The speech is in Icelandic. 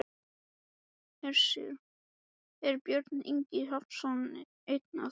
Hersir: Er Björn Ingi Hrafnsson einn af þeim?